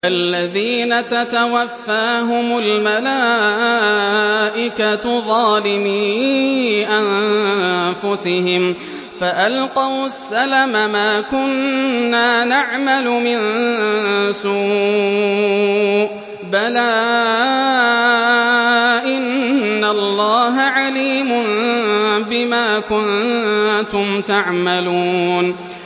الَّذِينَ تَتَوَفَّاهُمُ الْمَلَائِكَةُ ظَالِمِي أَنفُسِهِمْ ۖ فَأَلْقَوُا السَّلَمَ مَا كُنَّا نَعْمَلُ مِن سُوءٍ ۚ بَلَىٰ إِنَّ اللَّهَ عَلِيمٌ بِمَا كُنتُمْ تَعْمَلُونَ